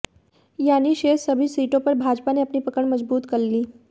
यानि शेष सभी सीटों पर भाजपा ने अपनी पकड़ मजबूत कर ली